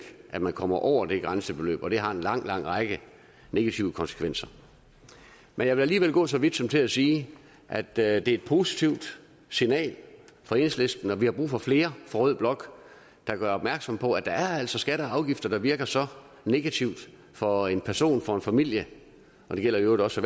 at man kommer over det grænsebeløb og det har en lang lang række negative konsekvenser men jeg vil alligevel gå så vidt som til at sige at det er et positivt signal fra enhedslisten og vi har brug for flere fra rød blok der gør opmærksom på at der altså er skatter og afgifter der virker så negativt for en person for en familie og det gælder i øvrigt også